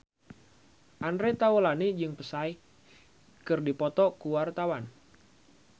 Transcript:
Andre Taulany jeung Psy keur dipoto ku wartawan